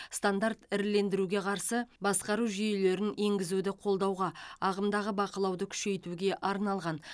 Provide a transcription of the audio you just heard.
стандарт ірілендіруге қарсы басқару жүйелерін енгізуді қолдауға ағымдағы бақылауды күшейтуге арналған